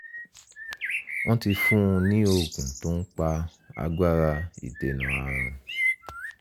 wọ́n ti fún un ní oògùn tó ń pa agbára ìdènà ààrùn